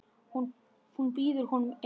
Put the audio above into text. Hún býður honum inn.